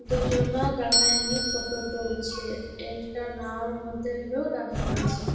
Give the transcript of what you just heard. দুজনা দাঁড়ায় নিয়ে ফটো তুলছে। একটা নাও মধ্যে লোক দাড়ায়ে আছে।